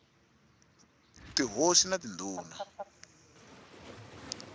tihosi na tindhuna r wa